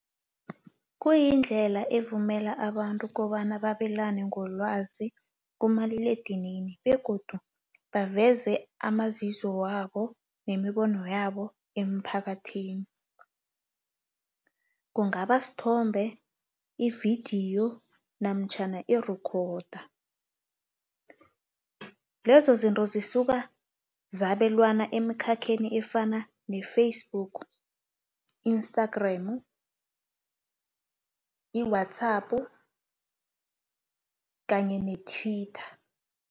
Kuyindlela evumela abantu kobana babelane ngolwazi kumaliledinini, begodu baveze amazizo wabo nemibono yabo emphakathini, kungaba sithombe, ividiyo, namtjhana i-recorda. Lezo zinto zisuka zabelwana emkhakheni efana ne-Facebook, Instagram, i-WhatsApp kanye ne-Twitter.